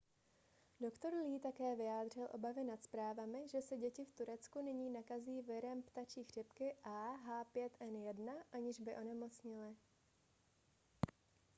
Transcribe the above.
doktor lee také vyjádřil obavy nad zprávami že se děti v turecku nyní nakazí virem ptačí chřipky ah5n1 aniž by onemocněly